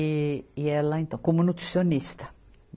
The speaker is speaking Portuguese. E, e ela, então, como nutricionista.